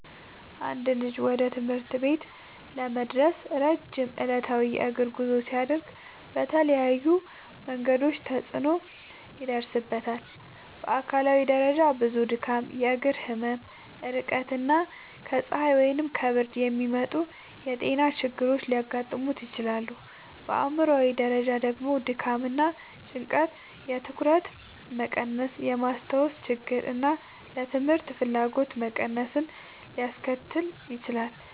አንድ ልጅ ወደ ትምህርት ቤት ለመድረስ ረጅም ዕለታዊ የእግር ጉዞ ሲያደርግ በተለያዩ መንገዶች ተጽዕኖ ይደርስበታል። በአካላዊ ደረጃ ብዙ ድካም፣ የእግር ህመም፣ ድርቀት እና ከፀሐይ ወይም ከብርድ የሚመጡ ጤና ችግሮች ሊያጋጥሙት ይችላሉ። በአእምሯዊ ደረጃ ደግሞ ድካም እና ጭንቀት የትኩረት መቀነስን፣ የማስታወስ ችግርን እና ለትምህርት ፍላጎት መቀነስን ሊያስከትል ይችላል።